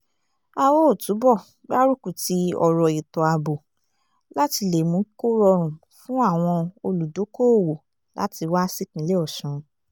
a óò túbọ̀ gbárùkù ti ọ̀rọ̀ ètò-ààbò láti lè mú kó rọrùn fún àwọn olùdókoòwò láti wá sípínlẹ̀ ọ̀sùn